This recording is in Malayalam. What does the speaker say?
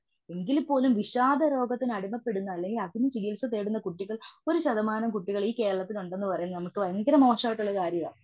എങ്കില് പോലും വിഷാദരോഗത്തിന് അടിമപ്പെടുന്ന അല്ലങ്കിൽ അതിന് ചികിത്സ തേടുന്ന കുട്ടികൾ ഒരു ശതമാനം കുട്ടികൾ ഈ കേരളത്തിൽ ഉണ്ടെന്നു പറയുന്നത് നമുക്ക് ഭയങ്കരമായിട്ട് മോശമുള്ള കാര്യവ.